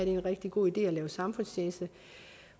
en rigtig god idé samfundstjeneste